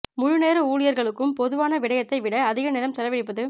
முழு நேர ஊழியர்களுக்கும் பொதுவான விடயத்தை விட அதிக நேரம் செலவழிப்பது